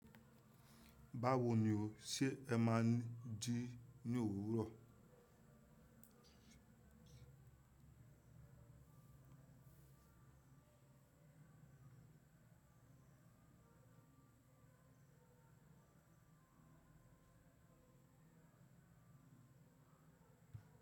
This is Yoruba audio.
Báwo ni o ṣe ẹ máa ń jí ní òwúrọ̀?